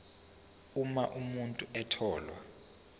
uma umuntu etholwe